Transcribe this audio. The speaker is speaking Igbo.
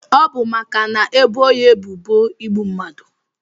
Ọbu maka na ebo ya ebubo igbu mmadu.